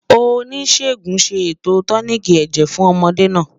Oníṣègùn ṣé ètò tóníkí èjè fún ọ̀módè nà